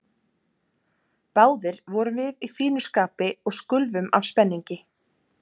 Báðir vorum við í fínu skapi og skulfum af spenningi.